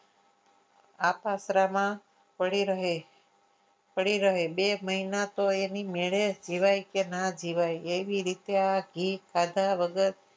આ પાત્રમાં પડી રહે પડી રહે બે મહિના તો એ એની મેળે જીવાય કે ના જીવાય એવી રીતે આઘી ખાધા વગર